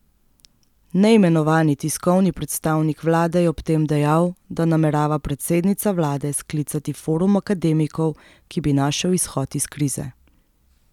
Neimenovani tiskovni predstavnik vlade je ob tem dejal, da namerava predsednica vlade sklicati forum akademikov, ki bi našel izhod iz krize.